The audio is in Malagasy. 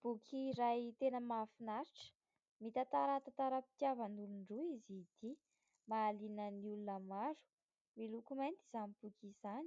Boky iray tena mahafinaritra, mitantara tantaram-pitiavan'olon-droa izy ity. Mahaliana ny olona maro. Miloko mainty izany boky izany